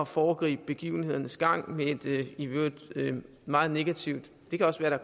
foregribe begivenhedernes gang med et i øvrigt meget negativt det kan også være